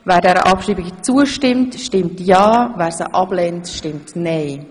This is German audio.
Wer dieser Abschreibung zustimmt, stimmt ja, wer dies ablehnt, stimmt nein.